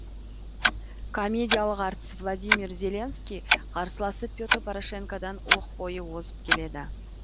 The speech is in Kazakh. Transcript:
комедиялық әртіс владимир зеленский қарсыласы петр порошенкодан оқ бойы озып келеді